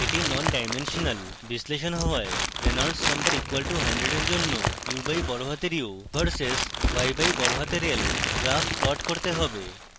এটি ননডাইমেনশনাল বিশ্লেষণ হওয়ায় reynolds number =100 এর জন্য u/u v/s y/l graph plot করতে হবে